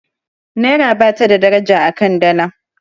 naira ba ta da daraja a kan Dala